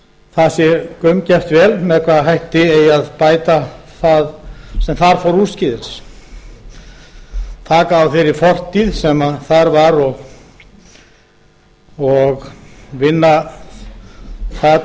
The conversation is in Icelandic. það sé gaumgæft vel með hvaða hætti eigi að bæta það sem þar fór úrskeiðis taka á verði fortíð sem þar var og vinna það